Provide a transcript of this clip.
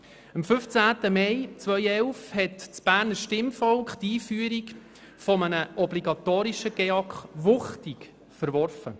Am 15. Mai 2011 hat das Berner Stimmvolk die Einführung eines obligatorischen GEAK wuchtig verworfen.